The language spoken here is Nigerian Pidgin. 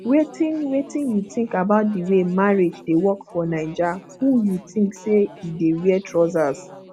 wetin wetin you think about di way marriage dey work for naija who you think say e dey wear trousers